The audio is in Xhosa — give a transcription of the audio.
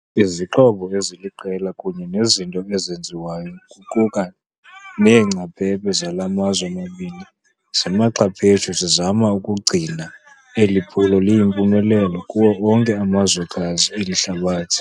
Izixhobo eziliqela kunye nezinto ezenziwayo, kuquka neengcaphephe zala mazwe mabini zimaxhaphetshu zizama ukugcina eli phulo liyimpumelelo kuwo onke amazwekazi eli hlabathi.